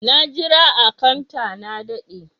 Na jira a " counter" na dade.